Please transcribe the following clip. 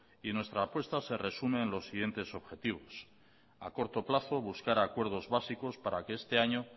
y nuestra apuesta se resume en los siguientes objetivos a corto plazo buscar acuerdos básicos para que este año